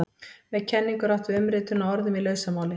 Með kenningu er átt við umritun á orðum í lausamáli.